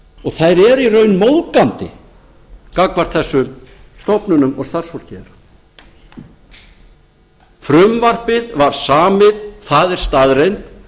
og þær eru í raun móðgandi gagnvart þessum stofnunum og starfsfólkinu frumvarpið var samið það er staðreynd